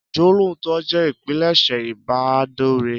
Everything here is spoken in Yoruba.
Ìjólootọ jẹ́ ìpilẹ̀ṣẹ̀ ìbádọ̀rẹ́